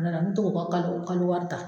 Tuma dɔ la me to k'o ka kalo kalo wari ta.